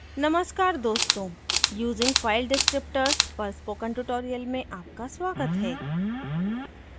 नमस्कार दोस्तों using file descriptors पर spoken tutorial में आपका स्वागत है